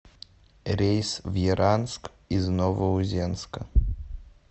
рейс в яранск из новоузенска